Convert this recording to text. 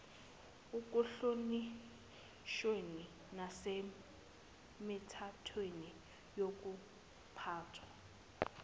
ekuhlonishweni nasemithethweni yokuphathwa